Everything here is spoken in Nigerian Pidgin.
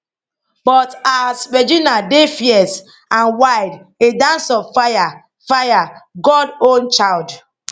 but ours regina dey fierce and wild a dance of fire fire god own child